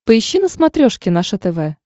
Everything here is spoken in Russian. поищи на смотрешке наше тв